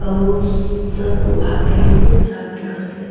अऊ सब आशीष प्राप्त करथे।